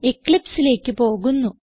eclipseലേക്ക് പോകുന്നു